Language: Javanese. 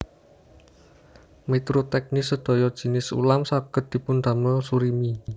Miturut teknis sedaya jinis ulam saged dipundamel surimi